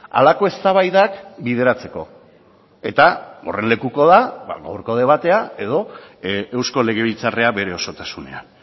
halako eztabaidak bideratzeko eta horren lekuko da ba gaurko debatea edo eusko legebiltzarra bere osotasunean